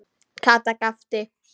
Kata gapti.